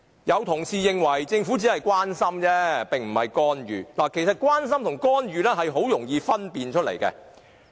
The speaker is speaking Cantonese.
有同事認為，政府只是關心，並非干預，其實關心和干預很容易作出區分。